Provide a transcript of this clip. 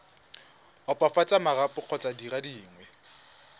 opafatsa marapo kgotsa dire dingwe